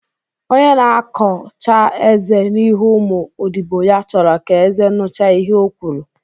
Onye na-akọ chaa eze n'ihu ụmụ odibo ya chọrọ ka eze nucha ihe ọ kwuru